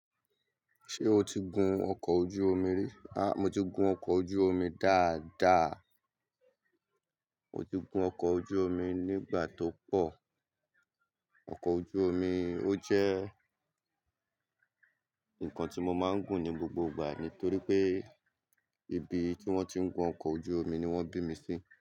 Ṣé o ti gun ọkọ̀ ojú omi rí? A, mo ti gun ọkọ̀ ojú omi dáadáa. Mo ti gun ọkọ̀ ojú omi nígbà tó pọ̀. Ọkọ̀ ojú omi ó jẹ́ nǹkan tí mo máa ń gùn ní gbogbo ìgbà torí pé ibi tí wọ́n ti ń gun ọkọ̀ ojú omi ni wọ́n bí mi sí.